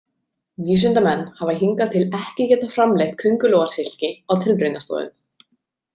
Vísindamenn hafa hingað til ekki getað framleitt köngulóarsilki á tilraunastofum.